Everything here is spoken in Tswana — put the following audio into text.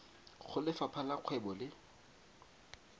go lefapha la kgwebo le